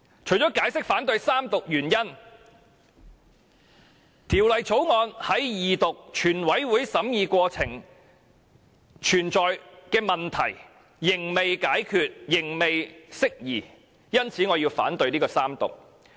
除了解釋反對三讀的原因外，《條例草案》在二讀、全體委員會審議過程的問題仍未解決、未能釋疑，因此我反對《條例草案》的三讀。